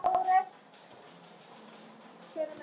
Hvað vill fólk meira?